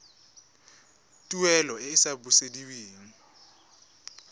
tuelo e e sa busediweng